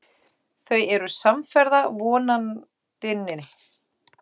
Þau eru samferða Vonandinni.